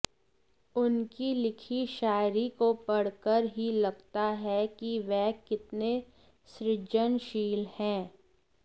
उनकी लिखी शायरी को पढ़ कर ही लगता है कि वह कितने सृजनशील हैं